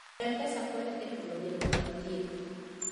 M-Pesa konyo e chulo nengo mag thieth.